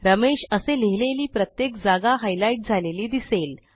रमेश असे लिहिलेली प्रत्येक जागा हायलाईट झालेली दिसेल